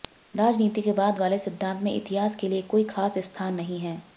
राजनीति के बाद वाले सिद्घांत में इतिहास के लिए कोई खास स्थान नहीं है